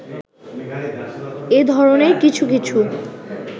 এ ধরণের কিছু কিছু